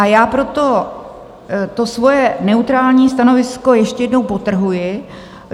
A já proto to svoje neutrální stanovisko ještě jednou podtrhuji.